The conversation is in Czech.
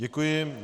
Děkuji.